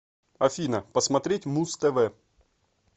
афина посмотреть муз тв